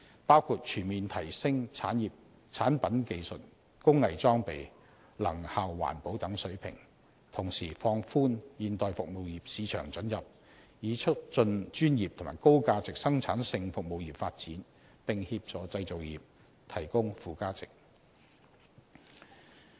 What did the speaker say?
包括全面提升產品技術、工藝裝備及能效環保等水平，同時放寬現代服務業市場准入，以促進專業和高價值生產性服務業發展，並協助製造業提供附加值。